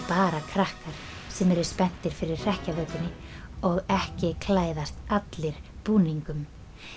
bara krakkar sem eru spenntir fyrir hrekkjavökunni og ekki klæðast allir búningum